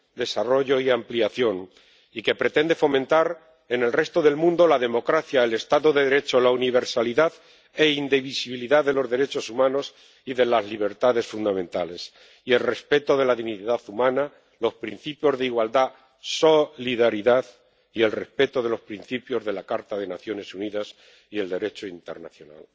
desarrollo y ampliación y que pretende fomentar en el resto del mundo la democracia, el Estado de Derecho, la universalidad e indivisibilidad de los derechos humanos y de las libertades fundamentales, el respeto de la dignidad humana, los principios de igualdad y solidaridad y el respeto de los principios de la Carta de las Naciones Unidas y el Derecho internacional.